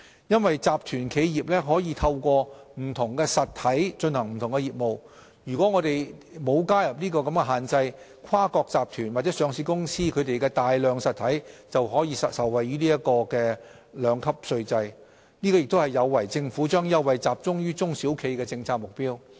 由於集團企業可透過不同實體進行不同業務，如果我們不加入有關的限制，跨國集團或上市公司旗下的大量實體便均能受惠於兩級稅制，這亦有違政府將優惠集中於中小企的政策目標。